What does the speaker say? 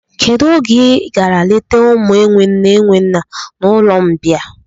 Kedụ oge I gara leta ụmụ enwe nne enwe nna n'ụlọmbịa?